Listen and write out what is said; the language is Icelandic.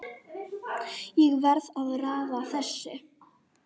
Ég var að raða þessu